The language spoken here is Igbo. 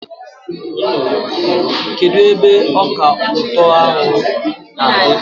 Kedụ ebe ọka ụtọ ahụ na-adị?